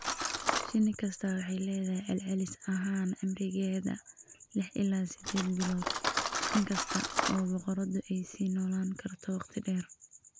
Shinni kasta waxay leedahay celcelis ahaan cimrigeeda lix ilaa siddeed bilood, inkasta oo boqoraddu ay sii noolaan karto waqti dheer.